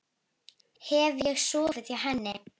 Hef ég sofið hjá henni?